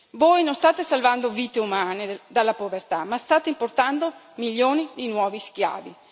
Voi non state salvando vite umane dalla povertà ma state importando milioni di nuovi schiavi.